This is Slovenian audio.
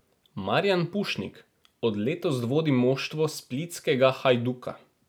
Marijan Pušnik od letos vodi moštvo splitskega Hajduka.